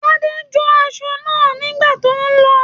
Tade jo aṣọ náà nígbà tó n lọ ọ.